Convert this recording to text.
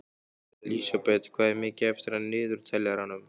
Lísebet, hvað er mikið eftir af niðurteljaranum?